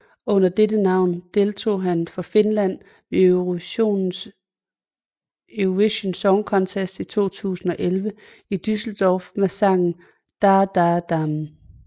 Under dette navn deltog han for Finland ved Eurovision Song Contest 2011 i Düsseldorf med sangen Da da dam